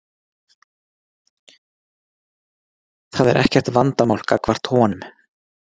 Það er ekkert vandamál gagnvart honum.